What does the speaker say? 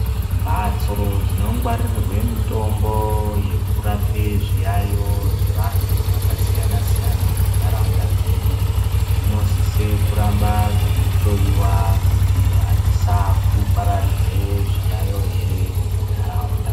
Mbatso dzinogwarirwa mitombo yekurape zviyayo zvevantu vakasiyana- siyana muntaraunta dzedu dzinosisa kuramba dzeihloyiwa kuti adzisaa kupararidza zviyayo ere muntaraunta.